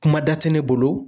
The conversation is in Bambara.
Kuma da tɛ ne bolo.